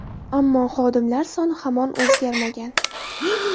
Ammo, xodimlar soni hamon o‘zgarmagan.